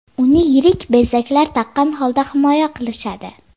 Uni yirik bezaklar taqqan holda himoya qilishadi.